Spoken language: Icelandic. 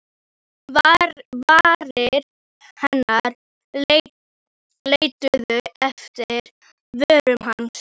Varir hennar leituðu eftir vörum hans.